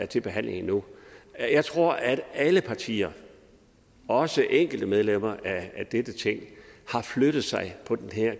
til behandling nu jeg tror at alle partier også de enkelte medlemmer af dette ting har flyttet sig på det her